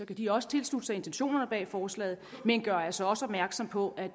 kan de også tilslutte sig intentionerne bag forslaget men gør altså opmærksom på at